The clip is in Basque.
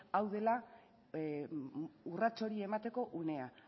hau dela urrats hori emateko unea